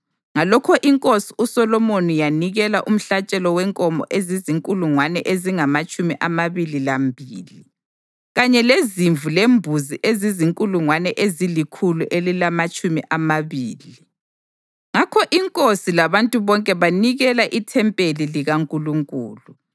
Ngalokho inkosi uSolomoni yanikela umhlatshelo wenkomo ezizinkulungwane ezingamatshumi amabili lambili kanye lezimvu lembuzi ezizinkulungwane ezilikhulu elilamatshumi amabili. Ngakho inkosi labantu bonke banikela ithempeli likaNkulunkulu.